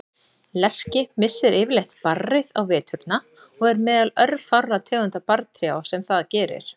Lerki missir yfirleitt barrið á veturna og er meðal örfárra tegunda barrtrjáa sem það gerir.